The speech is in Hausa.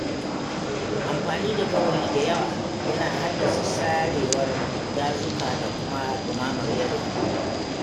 Amfani da gawayi da yawa yana haddasa sarewar dazuka da kuma dumamar yanayi.